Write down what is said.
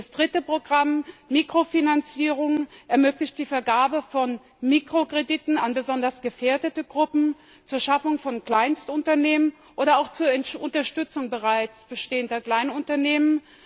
Das dritte Programm MIKROFINANZIERUNG ermöglicht die Vergabe von Mikrokrediten an besonders gefährdete Gruppen zur Schaffung von Kleinstunternehmen oder auch zur Unterstützung bereits bestehender Kleinunternehmen.